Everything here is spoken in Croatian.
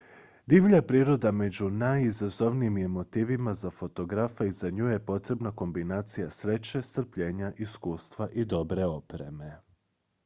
divlja priroda među najizazovnijim je motivima za fotografa i za nju je potrebna kombinacija sreće strpljenja iskustva i dobre opreme